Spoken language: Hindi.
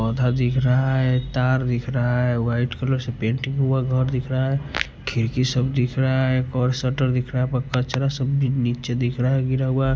बधा दिख रहा है तार दिख रहा है वाइट कलर से पेंटिंग हुआ घर दिख रहा है खिरकी सब दिख रहा है शटर दिख रहा है कचरा सब नीचे दिख रहा है गिरा हुआ।